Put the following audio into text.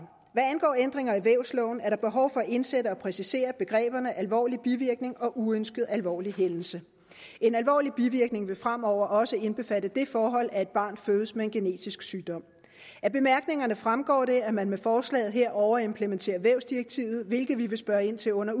hvad angår ændringer i vævsloven er der behov for at indsætte og præcisere begreberne alvorlig bivirkning og uønsket alvorlig hændelse en alvorlig bivirkning vil fremover også indbefatte det forhold at et barn fødes med en genetisk sygdom af bemærkningerne fremgår det at man med forslaget her overimplementerer vævsdirektivet hvilket vi vil spørge ind til under